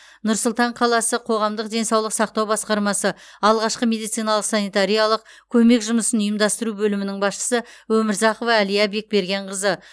нұр сұлтан қаласы қоғамдық денсаулық сақтау басқармасы алғашқы медициналық санитариялық көмек жұмысын ұйымдастыру бөлімінің басшысы өмірзақова әлия бекбергенқызы